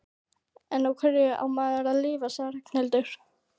En á hverju á maður að lifa? sagði Ragnhildur.